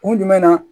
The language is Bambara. Kun jumɛn na